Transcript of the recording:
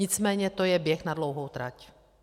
Nicméně to je běh na dlouhou trať.